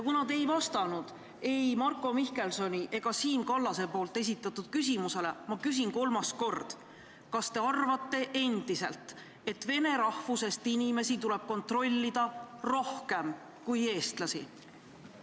Kuna te ei vastanud ei Marko Mihkelsoni ega Siim Kallase küsimusele, küsin ma kolmas kord: kas te arvate endiselt, et vene rahvusest inimesi tuleb kontrollida rohkem kui eestlasi?